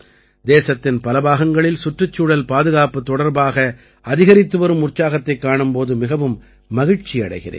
தேசத்தின் பல பாகங்களில் சுற்றுச்சூழல் பாதுகாப்புத் தொடர்பாக அதிகரித்துவரும் உற்சாகத்தைக் காணும் போது மிகவும் மகிழ்ச்சி அடைகிறேன்